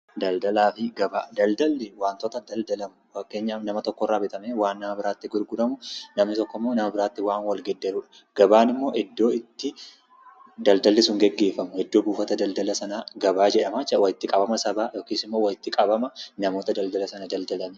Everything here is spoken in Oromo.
Daldalaa fi gabaa: Daldalli wantota daldalamu fakkeenyaf nama tokkorraa bitamee waan nama biraattii gurguramu, namni tokkommoo nama biraatti waan wal geeddarudha . Gabaan immoo iddoo itti daldalli sun gaggeeffamu, iddoo buufata daldala sanaa gabaa jedhamaa jechuudha. Walitti qabama sabaa yookis immoo waliiti qabama namoota daldala sana daldalanii.